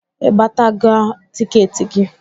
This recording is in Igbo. Ị gbataala tịketị gị?